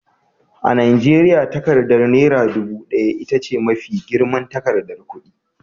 A Najeriya, takardar Naira ɗubu ɗaya ita ce mafi girman takardar kudi.